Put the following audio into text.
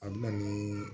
A bɛ na nii